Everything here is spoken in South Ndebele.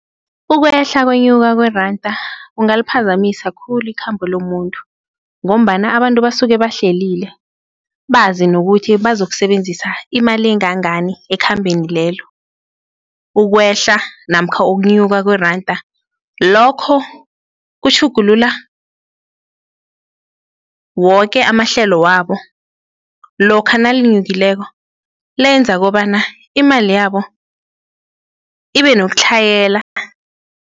Ukwehla kwenyuka kweranda kungaliphazamisa khulu ikhambo lomuntu ngombana abantu basuke bahlelile bazi nokuthi bazokusebenzisa imali engangani ekhambeni lelo, ukwehla namkha ukunyuka kweranda lokho kutjhugulula woke amahlelo wabo lokha nalinyukileko, lenza kobana imali yabo ibenokutlhayela.